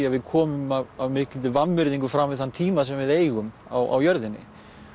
að við komum af mikilli vanvirðingu fram við þann tíma sem við eigum á jörðinni